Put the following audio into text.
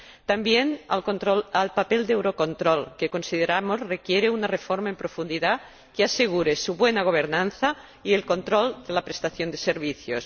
También hacen referencia al papel de Eurocontrol, que consideramos requiere una reforma en profundidad que asegure su buena gobernanza y el control de la prestación de servicios.